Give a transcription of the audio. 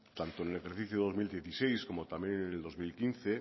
tanto en el ejercicio dos mil dieciséis como también en el dos mil quince